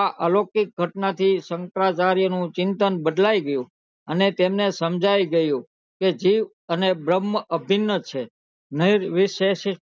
આ અલોકિક ઘટના થી શંકરાચાર્ય નું ચિંતન બદલાઈ ગયું અને તેમને સમજાય ગયું કે જીવ અને બ્રહ્મ અભિન છે